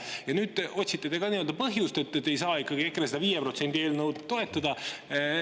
Ja nüüd te otsite ka põhjust, miks ei saa ikkagi EKRE 5%-lise eelnõu toetada.